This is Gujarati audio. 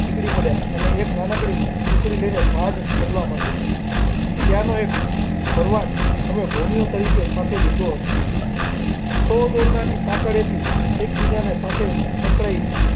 નીકળી પડ્યા અને એક નાનકડી ટુકડી લઈને પહાડ ચડવા માંડ્યો ત્યાંનો એક ભરવાડ અને ભોમિયા તરીકેસાથે લીધો હતો સૌ દોરડાની સાંકળેથી એકબીજાની સાથે સંકળાઈ.